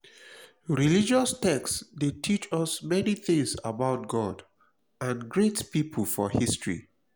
religious text de teach us many things about god and great pipo for history